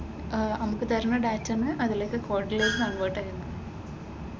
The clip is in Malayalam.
ആഹ് നമുക്ക് തരുന്ന ഡാറ്റയിൽ നിന്നും അതിലേക്കു കോഡിലേക്ക് കൺവെർട് ചെയ്യണം.